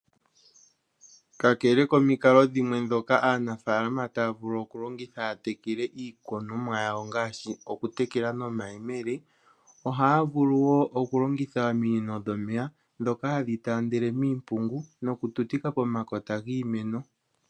Kakele komikalo dhimwe ndhoka aanafaalama taya vulu oku longitha ya tekela iikunomwa yawo ngaashi okutekela nomayemele . Ohaya vulu woo okulongitha ominino dhomeya ndhoka hadhi taandele miimpingu noku tutika pomakota giimeno